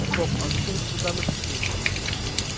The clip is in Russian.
стоп а зачем же тогда мы пришли